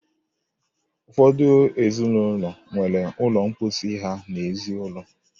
Ụfọdụ ezinụlọ nwere ụlọ mposi ha n'ezi ụlọ.